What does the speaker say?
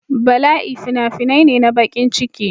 Bala'i fina-finai ne na bakin ciki.